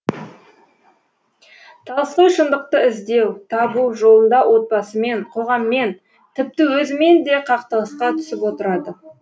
толстой шындықты іздеу табу жолында отбасымен қоғаммен тіпті өзімен де қақтығысқа түсіп отырады